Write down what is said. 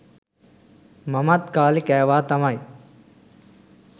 මමත් කාලේ කෑවා තමයි